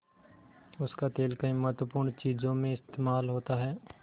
उसका तेल कई महत्वपूर्ण चीज़ों में इस्तेमाल होता है